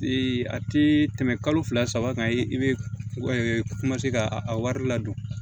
a tɛ tɛmɛ kalo fila saba kan i bɛ ka a wari ladon